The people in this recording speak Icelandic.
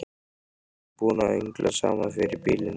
Við erum búin að öngla saman fyrir býlinu.